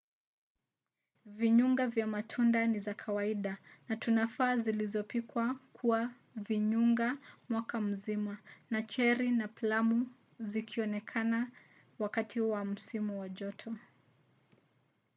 vinyunga vya matunda ni za kawaida na tufaa zilizopikwa kuwa vinyunga mwaka mzima na cheri na plamu zikionekana wakati wa msimu wa joto